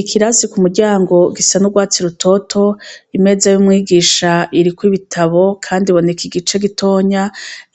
Ikirasi ku muryango gisa n'urwatsi rutoto imeza y'umwigisha iriko ibitabo, kandi boneka igice gitonya